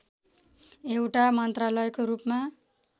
एउटा मन्त्रालयको रूपमा